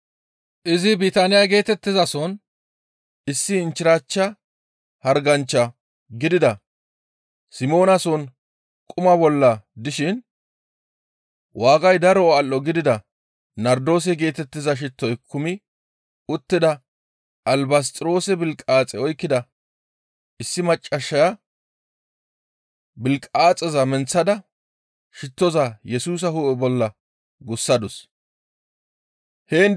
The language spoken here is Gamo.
Izi Bitaaniya geetettizason issi inchchirachcha harganchcha gidida Simoonason quma bolla dishin waagay daro al7o gidida nardoose geetettiza shittoy kumi uttida albasxiroose bilqaaxe oykkida issi maccassaya bilqaaxeza menththada shittoza Yesusa hu7e bolla gussadus. Albasxiroose bilqaaxeta